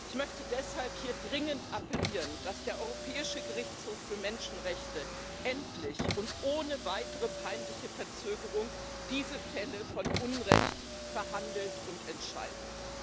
Ich möchte deshalb hier dringend appellieren, dass der Europäische Gerichtshof für Menschenrechte endlich und ohne weitere peinliche Verzögerung diese Fälle von Unrecht verhandelt und entscheidet.